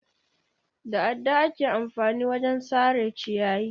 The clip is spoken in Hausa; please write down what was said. Da adda ake amfani wajen sare ciyayi.